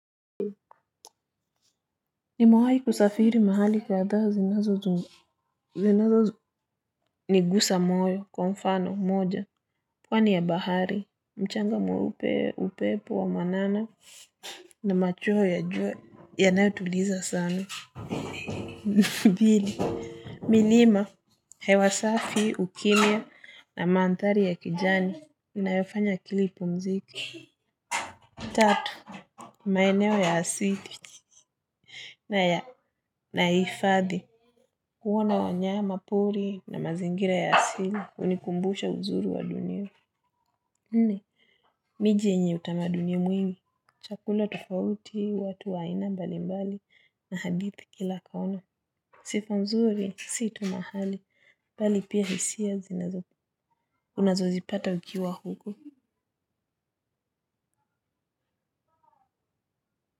Nimawahi kusafiri mahali kwa adha zinazo, zinazo nigusa moyo, kwa mfano, moja, pwani ya bahari, mchanga mweupe, upepo wa mwanana, na machuo ya jua, yanayo tuliza sana. Pili, milima, hewasafi, ukimya, na manthari ya kijani, inayofanya kilipo mziki. Tatu, maeneo ya asili, na ya naifadhi. Uwana wanyama pori na mazingira ya asili. Unikumbusha uzuri wa dunia. Nne, miji yenye utamaduni mwingi. Chakula tofauti, watu waina mbali mbali na hadithi kila kaona. Sifa mzuri, si tu mahali, pali pia hisia unazozipata ukiwa huko.